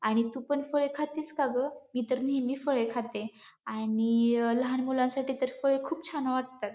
आणि तू पण फळे खातीस का गं? मी तर नेहमी फळे खाते आणि लहान मुलांसाठी तर फळे खुप छान वाटतत.